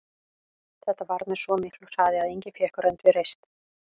Þetta varð með svo miklu hraði að enginn fékk rönd við reist.